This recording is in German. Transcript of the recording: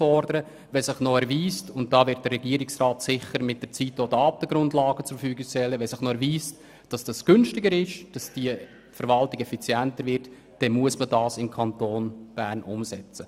Sollte sich erweisen, dass die Verwaltung effizienter und günstiger wird – der Regierungsrat wird dazu sicher mit der Zeit auch Datengrundlagen zur Verfügung stellen –, muss man es im Kanton Bern umsetzen.